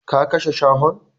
Ka kashe shahon!